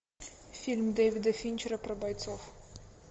фильм дэвида финчера про бойцов